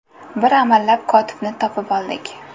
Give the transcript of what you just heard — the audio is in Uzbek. Bir amallab kotibni topib oldik.